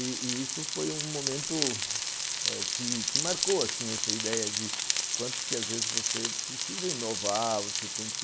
E e isso foi um momento que marcou essa ideia de quanto às vezes você precisa inovar, você tem que...